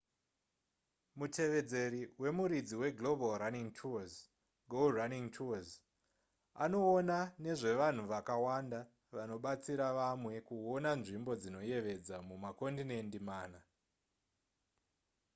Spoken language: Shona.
mutevedzeri wemuridzi weglobal running tours go running tours anoona nezvevanhu vakawanda vanobatsira vamwe kuona nzvimbo dzinoyevedza mumakondinendi mana